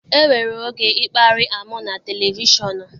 E nwere oge ịkparị amụ na televishọnụ.